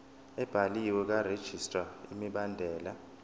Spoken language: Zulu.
ebhaliwe karegistrar imibandela